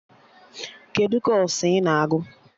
Kedụ kọọsụ I na-agụ?